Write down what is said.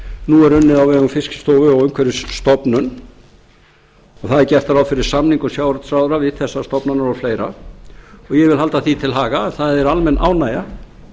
nú er unnið á vegum fiskistofu og umhverfisstofnunar það er gert ráð fyrir samningum sjávarútvegsráðherra við þessar stofnanir og fleira og ég vil halda því til haga að það er almenn ánægja